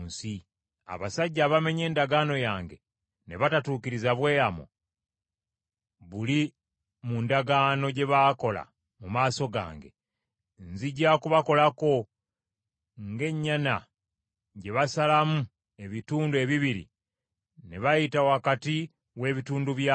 Abasajja abamenye endagaano yange ne batatuukiriza bweyamo buli mu ndagaano gye baakola mu maaso gange, nzija kubakolako ng’ennyana gye basalamu ebitundu ebibiri ne bayita wakati w’ebitundu byayo.